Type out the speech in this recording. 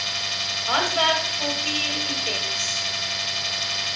handwerk kultuur items